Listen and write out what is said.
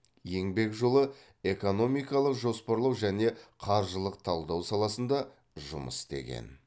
еңбек жолы экономикалық жоспарлау және қаржылық талдау саласында жұмыс істеген